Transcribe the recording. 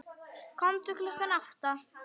Komdu klukkan átta.